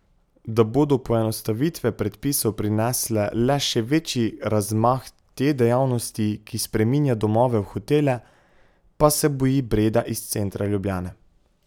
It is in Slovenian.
Da bodo poenostavitve predpisov prinesle le še večji razmah te dejavnosti, ki spreminja domove v hotele, pa se boji Breda iz centra Ljubljane.